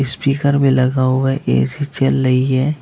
Speaker में लगा हुआ ए_सी चल रही है।